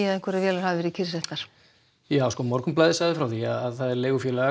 að einhverjar vélar hefðu verið kyrrsettar já Morgunblaðið sagði frá því að leigufélagið